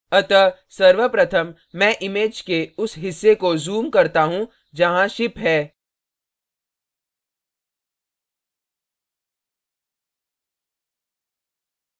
अतः सर्वप्रथम मैं image के उस हिस्से को zoom करता हूँ जहाँ ship है